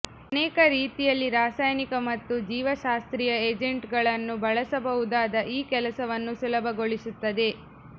ಅನೇಕ ರೀತಿಯಲ್ಲಿ ರಾಸಾಯನಿಕ ಮತ್ತು ಜೀವಶಾಸ್ತ್ರೀಯ ಏಜೆಂಟ್ಗಳನ್ನು ಬಳಸಬಹುದಾದ ಈ ಕೆಲಸವನ್ನು ಸುಲಭಗೊಳಿಸುತ್ತದೆ